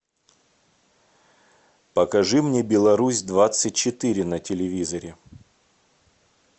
покажи мне беларусь двадцать четыре на телевизоре